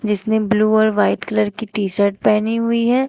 इसमें ब्लू और white colour की टी शर्ट पहनी हुई है।